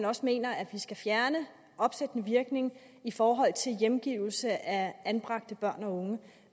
også mener at vi skal fjerne opsættende virkning i forhold til hjemgivelse af anbragte børn og unge